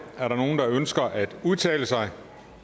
er der nogen der ønsker at udtale sig